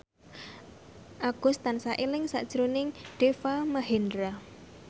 Agus tansah eling sakjroning Deva Mahendra